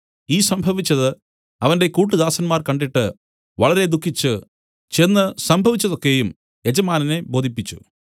ഈ സംഭവിച്ചത് അവന്റെ കൂട്ടുദാസന്മാർ കണ്ടിട്ട് വളരെ ദുഃഖിച്ചു ചെന്ന് സംഭവിച്ചത് ഒക്കെയും യജമാനനെ ബോധിപ്പിച്ചു